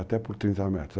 Até por 30 metros.